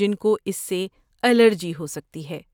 جن کو اس سے الرجی ہو سکتی ہے۔